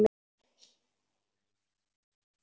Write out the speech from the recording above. Hertu þig upp, mamma.